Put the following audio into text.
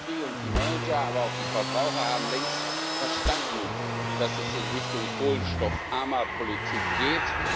Die Industrie und die Manager, aber auch die Verbraucher haben längst verstanden, dass es in Richtung kohlenstoffarmer Politik geht.